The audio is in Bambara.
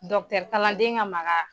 Dɔkitɛri kaladen ka maka